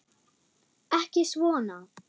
Ekki svona.